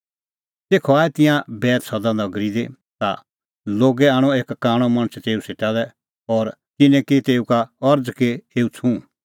तेखअ आऐ तिंयां बैतसैदा नगरी दी ता लोगै आणअ एक कांणअ मणछ तेऊ सेटा लै और तिन्नैं की तेऊ का अरज़ कि एऊ छ़ुंह